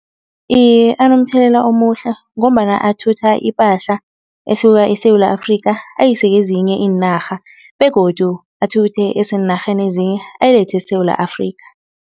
Iye anomthelela omuhle ngombana athutha ipahla esuka eSewula Afrika ayise kezinye iinarha begodu athuthe eseenarheni ezinye ayilethe eSewula Afrika.